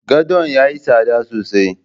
Godon yayi tsada sosai